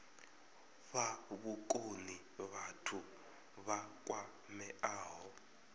fha vhukoni vhathu vha kwameaho